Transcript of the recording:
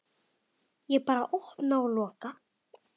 Ég bara opna og loka.